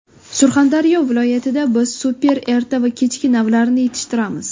Surxondaryo viloyatida biz super erta va kechki navlarini yetishtiramiz.